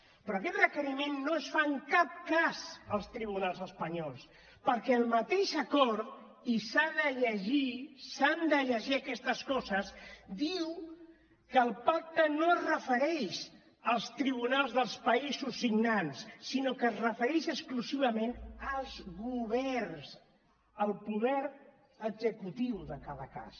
però aquest requeriment no es fa en cap cas als tribunals espanyols perquè el mateix acord i s’ha de llegir s’han de llegir aquestes coses diu que el pacte no es refereix als tribunals dels països signants sinó que es refereix exclusivament als governs al poder executiu de cada cas